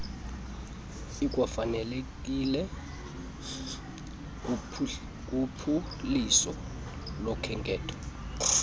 ikwafanelekile kuphuliso lokhenketho